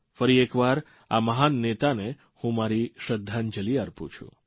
ફરી એકવાર આ મહાન નેતાને હું મારી શ્રદ્ધાંજલિ અર્પું છું